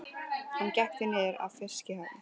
Hann gekk því niður að fiskihöfn.